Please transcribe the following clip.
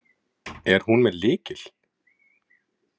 Er hún með lykil?